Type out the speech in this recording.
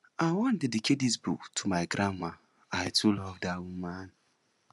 i wan dedicate dis book to my grandma i too love dat woman